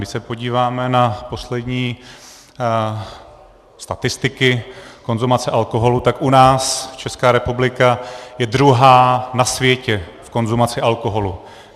Když se podíváme na poslední statistiky konzumace alkoholu, tak u nás, Česká republika je druhá na světě v konzumaci alkoholu.